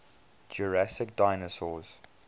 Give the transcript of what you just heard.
jurassic dinosaurs